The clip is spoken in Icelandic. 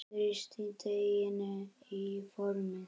Þrýstið deiginu í formið.